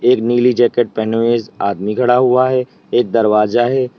एक नीली जैकेट पहनी हुई आदमी खड़ा हुआ है एक दरवाजा है।